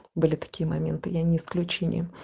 были такие моменты я не исключение